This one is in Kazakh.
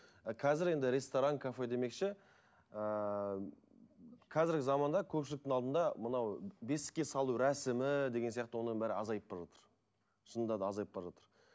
а қазір енді ресторан кафе демекші ыыы қазіргі заманда көпшіліктің алдында мынау бесікке салу рәсімі деген сияқты оның бәрі азайып бара жатыр шынында да азайып бара жатыр